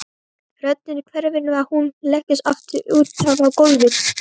Röddin hverfur og hún leggst aftur útaf á gólfið.